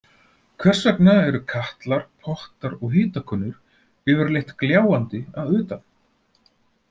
Hvers vegna eru katlar, pottar og hitakönnur yfirleitt gljáandi að utan?